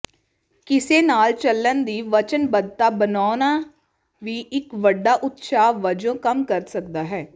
ਕਿਸੇ ਨਾਲ ਚੱਲਣ ਦੀ ਵਚਨਬੱਧਤਾ ਬਣਾਉਣਾ ਵੀ ਇੱਕ ਵੱਡਾ ਉਤਸ਼ਾਹ ਵਜੋਂ ਕੰਮ ਕਰ ਸਕਦਾ ਹੈ